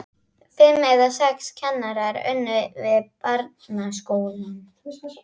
Fimm eða sex kennarar unnu við barnaskólann.